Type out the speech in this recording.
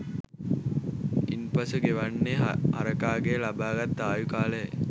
ඉන්පසු ගෙවන්නේ හරකාගෙන් ලබාගත් ආයු කාලයයි